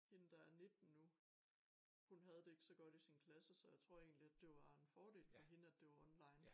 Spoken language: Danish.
Hende der er 19 nu hun havde det ikke så godt i sin klasse så jeg tror egentlig at det var en fordel for hende at det var online